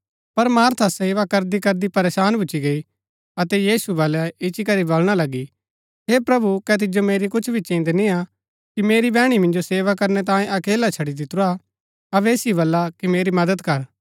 पर मार्था सेवा करदीकरदी परेशान भूच्ची गई अतै यीशु बलै इच्ची करी बलणा लगी हे प्रभु कै तिजो मेरी कुछ भी चिन्‍द निआं कि मेरी बैहणी मिन्जो सेवा करनै तांयें अकेला छड़ी दितुरा अबै ऐसाओ बल्ला कि मेरी मदद कर